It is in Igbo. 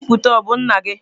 Onye nbipute a o bu nna gi?